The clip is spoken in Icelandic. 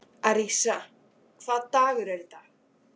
Arisa, hvaða dagur er í dag?